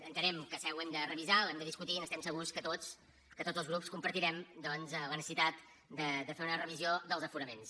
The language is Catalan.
entenem que ho hem de revisar ho hem de discutir i estem segurs que tots els grups compartirem doncs la necessitat de fer una revisió dels aforaments